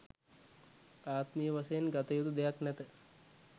ආත්මීය වශයෙන් ගත යුතු දෙයක් නැත